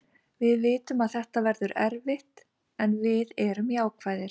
Við vitum að þetta verður erfitt en við erum jákvæðir.